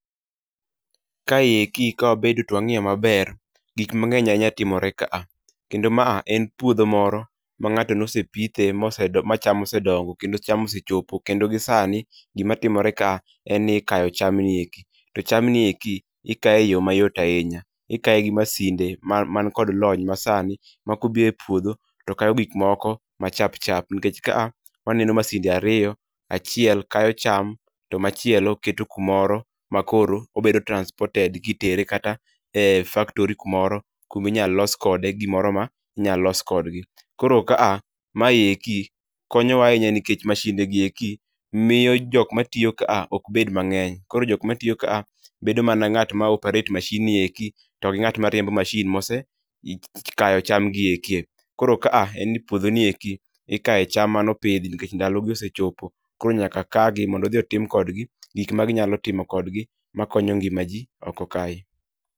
Kae eki ka wabedo to wangiyo maber, gik mang'eny ahinya timore ka a. Kendo ma en puodho moro ma ng'ato nosepithe ma cham osedongo kendo cham osechopo. Kendo gi sani, gima timore ka en ni ikayo cham ni eki. To cham ni eki, ikaye e yo mayot ahinya. Ikaye gi masinde ma mankod lony ma sani, ma kobire puodho to kayo gik moko ma chap chap. Nikech ka a waneno masinde ariyo, achiel kayo cham to machielo keto kumoro ma koro obedo transported kitere kata e faktori kumoro kuminyal los kode gimoro ma inya los kodgi. Koro ka a, mae eki, konyowa ahinya nikech mashinde gi eki miyo jok matiyo ka a ok bed mang'eny. Koro jokma tiyo ka a, bedo mana ng'at ma operate mashin ni eki togi ng'at ma riembo mashin mose kayo cham gi eki. Koro ka a en ni puodho nieki ikaye cham manopidhi nikech ndalo gi osechopo. Koro nyaka kagi mondo odhi otim kodgi gik ma ginyalo timo kodgi ma konyo ngima ji oko kae.